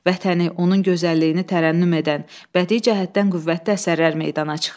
Vətəni, onun gözəlliyini tərənnüm edən, bədii cəhətdən qüvvətli əsərlər meydana çıxır.